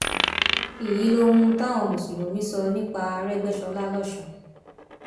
èyí lohun táwọn mùsùlùmí sọ nípa àrégbèsọlá lọsùn